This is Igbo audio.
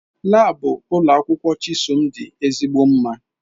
Laabu ụlọ akwụkwọ Chisom dị ezigbo mma